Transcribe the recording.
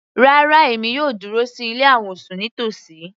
Rárá, èmi yóò dúró sí ilé àwọ̀sùn nítòsí.